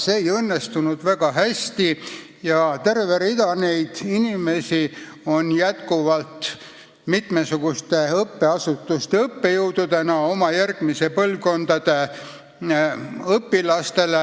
See ei õnnestunud väga hästi ja terve rida neid inimesi on mitmesuguste õppeasutuste õppejõududena järgmiste põlvkondade õpilastele